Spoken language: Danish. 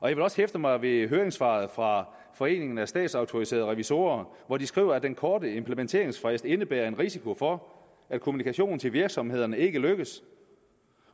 jeg vil også hæfte mig ved høringssvaret fra foreningen af statsautoriserede revisorer hvor de skriver at den korte implementeringsfrist indebærer en risiko for at kommunikation til virksomhederne ikke lykkes